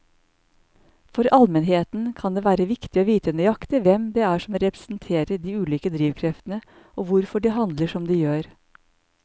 For allmennheten kan det være viktig å vite nøyaktig hvem det er som representerer de ulike drivkreftene og hvorfor de handler som de gjør.